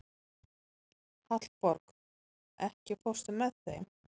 Hallborg, ekki fórstu með þeim?